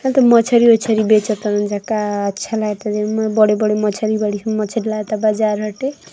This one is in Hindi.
मछरी ओछारी बेचतानी जा का अच्छा लागता। बड़े बड़े मछरी बाड़ी कुल मछरी लगता बाजार हटे |